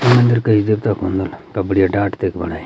ये मंदिर कई देवता कु हुन्द होल तब बढ़िया डाट तेक बणयीं।